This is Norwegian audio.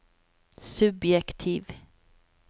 subjektiv